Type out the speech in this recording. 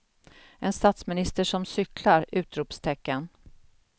En statsminister som cyklar! utropstecken